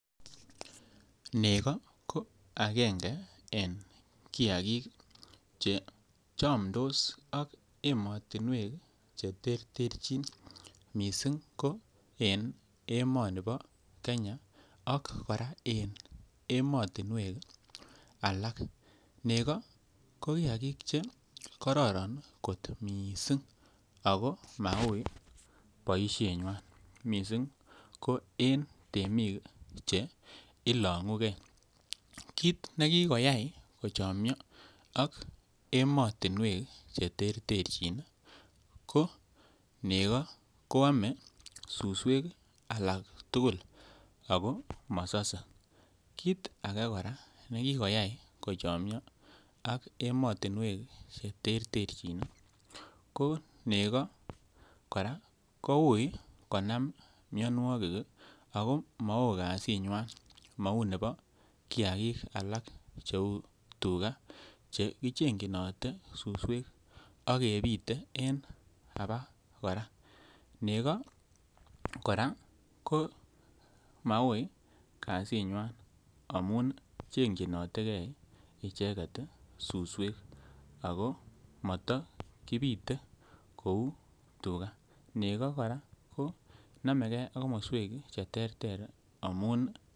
Nego ko angenge en kiagik che chomdos ak emotinwek che terterjin missing ko en emoni bo Kenya ak koraa en emotinwek alak. Nego ko kiagik che kororon kot missing ako mauui boishenywan, missing ko en temik che ilongu gee, kit ne kikoyay kochomyo ak emotinwek che terterjin ii ko nego ko ome suswek alak tugul ako mosose. Kit age koraa nekikoyay kochomyo ak emotinwek che terterjin ii ko nego koraa ko uui konam mionwokik ii ako mo oo kazinywan mouu nebo kiagik alak che uu tuga che kichenyinotee suswek ak kepite en abak koraa, nego koraa ko mauii kazinywan amun chekyin notee gee icheget suswek ako moto kipite kouu tuga, nego koraa ko nomegee ak komoswek che terter amun